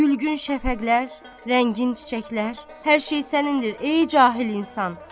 Gülgün şəfəqlər, rəngin çiçəklər, hər şey sənindir, ey cahil insan.